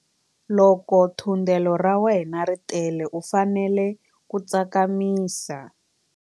Loko thundelo ra wena ri tele u fanele ku tsakamisa.